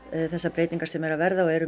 þessar breytingar sem eru að verða og eru